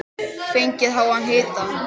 Fengið háan hita.